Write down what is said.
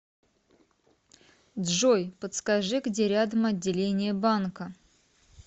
джой подскажи где рядом отделение банка